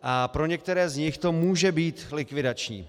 A pro některé z nich to může být likvidační.